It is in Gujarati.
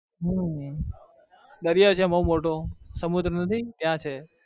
હમ દરિયો છે બઉ મોટો સમુદ્ર નથી ત્યાં છે.